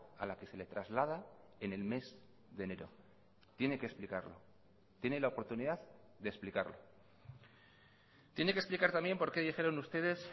a la que se le traslada en el mes de enero tiene que explicarlo tiene la oportunidad de explicarlo tiene que explicar también porque dijeron ustedes